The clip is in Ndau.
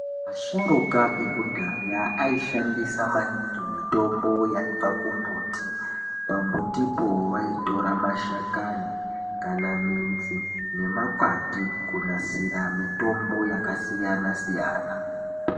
Asharuka ekudhaya aishandisa maningi mitombo yaibva kumbuti pambutipo aitora mashakani kana midzi nemakwati kunasira mitombo yakasiyana siyana.